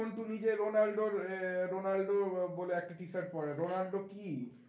সন্টু নিজে রোনাল্ডোর রোনাল্ডো আহ বলে একটা t-shirt পরে রোনাল্ডো কী?